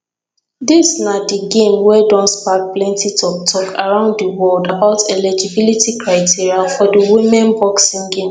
dis na di game wey don spark plenti toktok around di world about eligibility criteria for di women boxing game